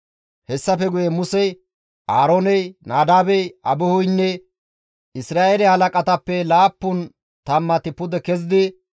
Hessafe guye Musey, Aarooney, Nadaabey, Abihuynne Isra7eele halaqatappe laappun tammati pude kezidi,